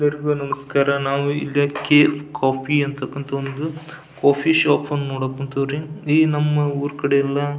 slate ಗಳು ನಮಸ್ಕಾರ ನಾವು ಇಲ್ಲಿ ಕೆಫ್ ಕಾಫಿ ಅಂತ ಒಂದು ಕಾಫಿ ಶಾಪ್ ನ ನೋಡಕ್ ಹೊಂಥರ್ ರೀ ಈ ನಮ್ಮ ಊರ್ ಕಡೆ ಎಲ್ಲ --